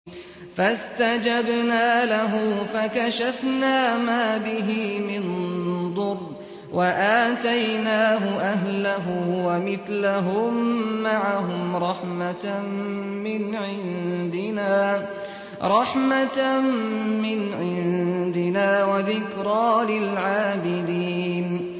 فَاسْتَجَبْنَا لَهُ فَكَشَفْنَا مَا بِهِ مِن ضُرٍّ ۖ وَآتَيْنَاهُ أَهْلَهُ وَمِثْلَهُم مَّعَهُمْ رَحْمَةً مِّنْ عِندِنَا وَذِكْرَىٰ لِلْعَابِدِينَ